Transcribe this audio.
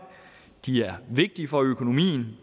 de er vigtige for økonomien